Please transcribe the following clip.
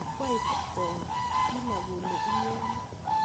kwaib koi kila kole inyoni